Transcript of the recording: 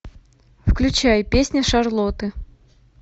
включай песня шарлотты